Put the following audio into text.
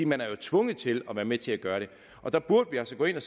man er tvunget til at være med til at gøre det og der burde vi altså gå ind og